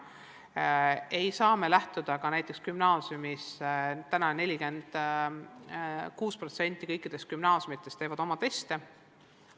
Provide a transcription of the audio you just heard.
Me ei saa sellest lähtuda ka näiteks gümnaasiumis, täna teeb 46% kõikidest gümnaasiumidest oma teste.